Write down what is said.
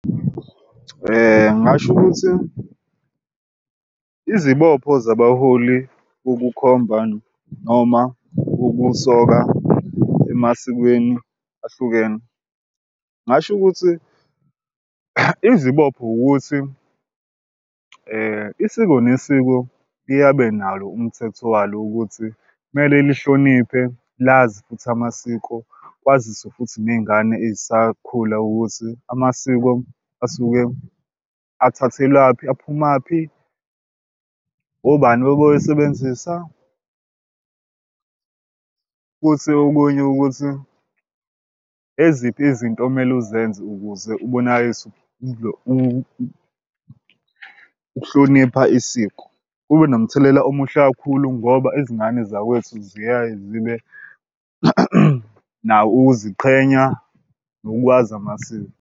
Ngingasho ukuthi izibopho zabaholi ukukhomba noma ukusoka emasikweni ahlukene ngingasho ukuthi izibopho ukuthi isiko nesiko liyabe nalo umthetho walo, ukuthi kumele lihloniphe lazi futhi amasiko kwaziswe futhi ney'ngane ezisakhula ukuthi amasiko asuke athathelwaphi aphumaphi. Obani bebewusebenzisa futhi okunye ukuthi eziphi izinto okumele uzenze ukuze ubonakaliswe ukuhlonipha isiko kube nomthelela omuhle kakhulu ngoba izingane zakwethu ziyaye zibe nako ukuziqhenya nokwazi amasiko.